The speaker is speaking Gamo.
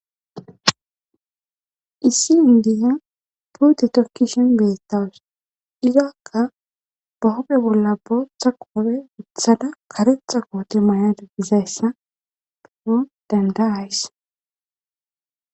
Issi indiyan tuute tokki shim betawus iraakka bahope bolla booththa qoope uthada karexa qoote mayada dizayssa beeo dandaays.